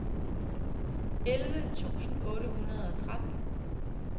elleve tusind otte hundrede og tretten